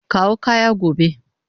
Kawo kaya gobe.